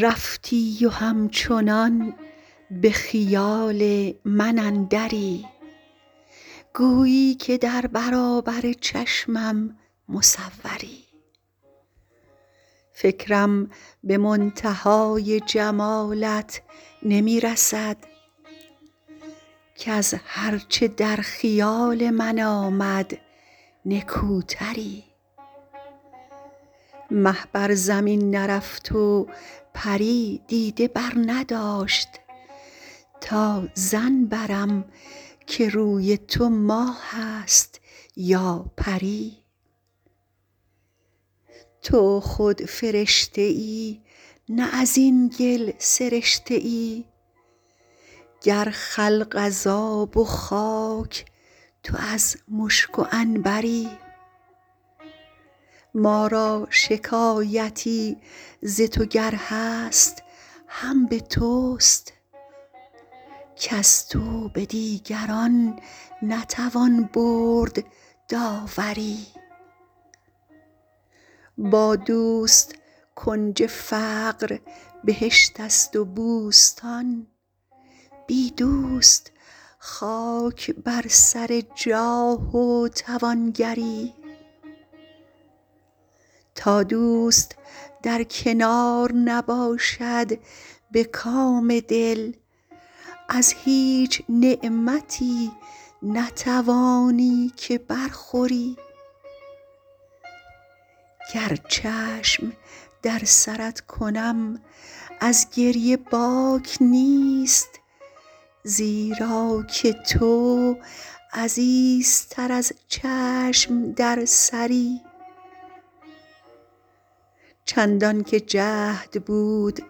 رفتی و همچنان به خیال من اندری گویی که در برابر چشمم مصوری فکرم به منتهای جمالت نمی رسد کز هر چه در خیال من آمد نکوتری مه بر زمین نرفت و پری دیده برنداشت تا ظن برم که روی تو ماه است یا پری تو خود فرشته ای نه از این گل سرشته ای گر خلق از آب و خاک تو از مشک و عنبری ما را شکایتی ز تو گر هست هم به توست کز تو به دیگران نتوان برد داوری با دوست کنج فقر بهشت است و بوستان بی دوست خاک بر سر جاه و توانگری تا دوست در کنار نباشد به کام دل از هیچ نعمتی نتوانی که برخوری گر چشم در سرت کنم از گریه باک نیست زیرا که تو عزیزتر از چشم در سری چندان که جهد بود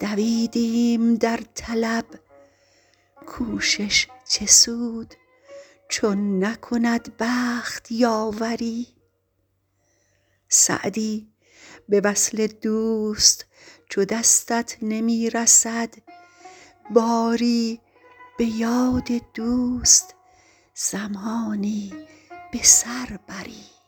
دویدیم در طلب کوشش چه سود چون نکند بخت یاوری سعدی به وصل دوست چو دستت نمی رسد باری به یاد دوست زمانی به سر بری